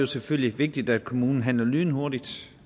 selvfølgelig vigtigt at kommunen handler lynhurtigt